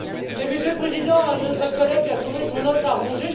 Monsieur le Président, notre collègue a trouvé son os à ronger!